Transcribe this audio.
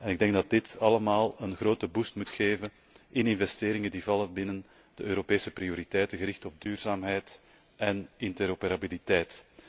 Ik denk dat dit allemaal een grote boost moet geven in investeringen die vallen binnen de Europese prioriteiten gericht op duurzaamheid en interoperabiliteit.